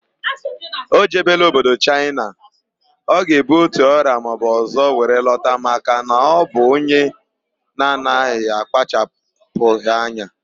O jebela obodo Chaịna, ọ ga ebu otu ọrịa maọbụ ọzọ were lọta maka na ọ bụ onye na anaghị akpachapughị anya